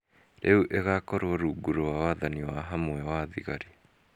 rĩu ĩgakorwo rungu rwa wathani wahamwe wa thigari.